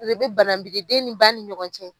bananbidi den ni ba ni ɲɔgɔn cɛ.